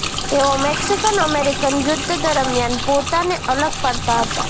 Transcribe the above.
તેઓ Mexican American યુદ્ધ દરમિયાન પોતાને અલગ પાડતા હતા